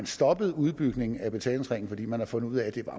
stoppet udbygningen af betalingsringen fordi man har fundet ud af at det